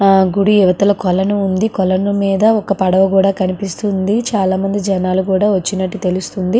ఆహ్ గూడు అవతల కొలను ఉంది కొలను మీద కూడా ఒక పడవ కూడా కనిపిస్తుంది చాల మంది జనాలు కూడా వచ్చినట్లు తెలుస్తుంది.